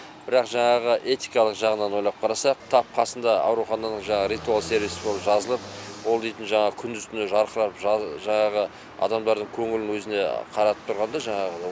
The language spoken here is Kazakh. бірақ жаңағы этикалық жағынан ойлап қарасақ тап қасында аурухананың жаңағы ритуал сервис бұл жазылып ол дейтін жаңағы күндіз түні жарқырап жаңағы адамдардың көңілін өзіне қаратып тұрғанда жаңағы